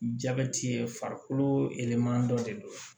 Jabɛti ye farikolo yɛlɛma dɔ de don